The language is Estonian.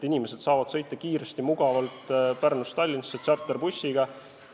Inimesed saavad sõita kiiresti ja mugavalt Pärnust Tallinnasse tšarterbussiga.